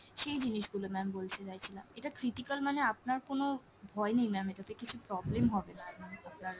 সেই জিনিসগুলো ma'am বলতে চাইছিলাম। এটা critical মানে আপনার কোনো ভয় নেই ma'am এটাতে কিছু problem হবেনা আপনার।